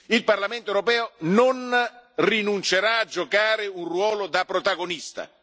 Il Parlamento europeo non rinuncerà a giocare un ruolo da protagonista.